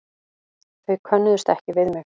Þau könnuðust ekki við mig.